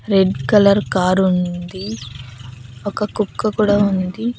Red colour కారుంది ఒక కుక్క కూడా ఉంది.